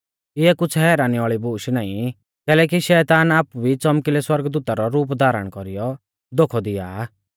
इऐ कुछ़ हैरानी वाल़ी बूश नाईं कैलैकि शैतान आपु भी च़ौमकिलै सौरगदूता रौ रूप धारण कौरीयौ धोखौ दिया आ